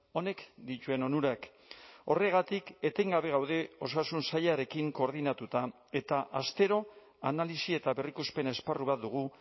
honek dituen onurak horregatik etengabe gaude osasun sailarekin koordinatuta eta astero analisi eta berrikuspen esparru bat dugu